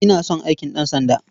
Ina son aikin ɗansanda.